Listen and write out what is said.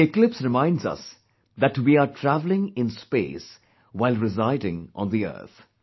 The eclipse reminds us that that we are travelling in space while residing on the earth